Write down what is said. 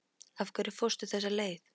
Af hverju fórstu þessa leið?